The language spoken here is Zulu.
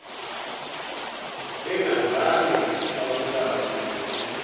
bengazange babulawe ngokuphula